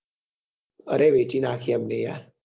અરે વેચી નાખી એમને યાર